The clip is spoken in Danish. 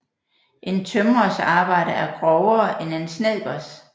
En tømrers arbejde er grovere end en snedkers